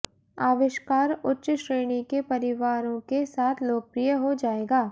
आविष्कार उच्च श्रेणी के परिवारों के साथ लोकप्रिय हो जाएगा